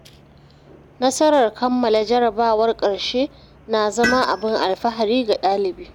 Nasarar kammala jarrabawar ƙarshe na zama abin alfahari ga ɗalibai.